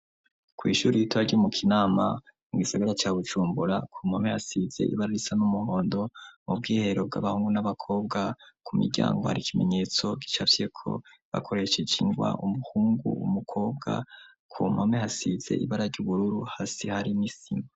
Kw'ishure ritoya ryo mu Kinama mu gisigara ca Bujumbura, ku mpome hasize ibara risa n'umuhondo, mu bw'iherero bw'abahungu n'abakobwa ku miryango hari ikimenyetso gicavyeko bakoresheje ingwa umuhungu umukobwa, ku mpome hasize ibara ry'ubururu hasi hari n'isima.